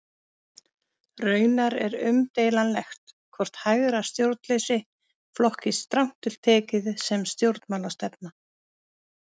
Raunar er umdeilanlegt hvort hægra stjórnleysi flokkist strangt til tekið sem stjórnmálastefna.